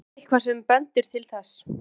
Er eitthvað sem bendir til þess?